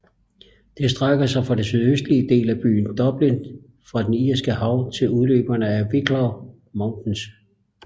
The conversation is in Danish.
Det strækker sig fra den sydøstlige del af byen Dublin fra det Irske Hav til udløberne af Wicklow Mountains